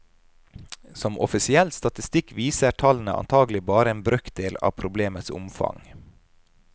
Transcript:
Som offisiell statistikk viser tallene antagelig bare en brøkdel av problemets omfang.